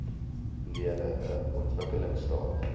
lede n ontwikkelingstaat